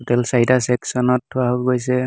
Total চাৰিটা চেক্সনত থোৱা গৈছে।